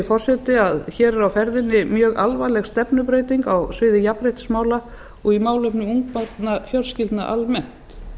forseti að hér er á ferðinni mjög alvarleg stefnubreyting á sviði jafnréttismála og í málefnum ungbarnafjölskyldna almennt